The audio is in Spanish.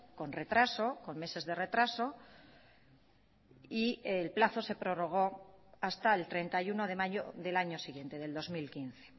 con retraso con meses de retraso y el plazo se prorrogó hasta el treinta y uno de mayo del año siguiente del dos mil quince